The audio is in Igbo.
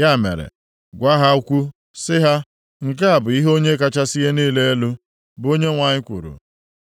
Ya mere, gwa ha okwu sị ha ‘Nke a bụ ihe Onye kachasị ihe niile elu, bụ Onyenwe anyị kwuru: